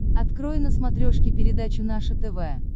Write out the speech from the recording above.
открой на смотрешке передачу наше тв